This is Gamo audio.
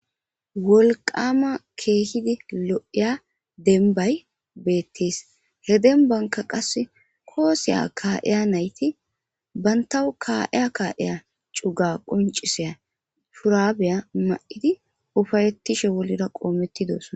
Wolqama keehidi lo'iya denbay beettis he denbanka qasse kooseya kaa'eya nayti bantawu kaa'eya kaa'eya cuga quncisiya furabeya ma'idi ufayettishe wolira qoomettidosona